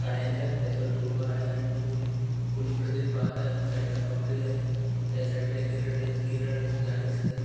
काड्याच्या त्याच्यावर तो उभा आहे आणि तो ई कोणीकडे तरी पाहत आहे साइड ला कपडे आहे त्या साइड ला केरेट आहे तिच केरेटाचे झाड दिसतंय.